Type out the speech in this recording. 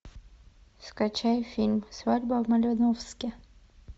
скачай фильм свадьба в малиновке